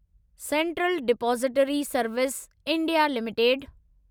central depository services India limited